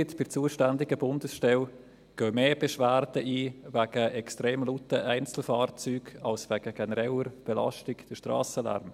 Bei der zuständigen Bundesstelle gehen mehr Beschwerden wegen extrem lauten Einzelfahrzeugen ein, als wegen genereller Belastung, dem Strassenlärm.